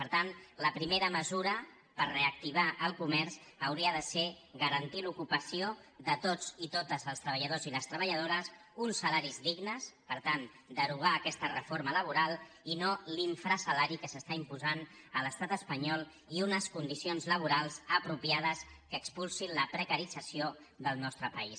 per tant la primera mesura per reactivar el comerç hauria de ser garantir l’ocupació de tots i totes els treballadors i les treballadores uns salaris dignes per tant derogar aquesta reforma laboral i no l’infrasalari que s’està imposant a l’estat espanyol i unes condicions laborals apropiades que expulsin la precarització del nostre país